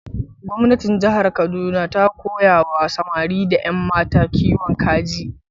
Gwamnatin jihar Kaduna ta koya wa samari da yammata kiwon kaji.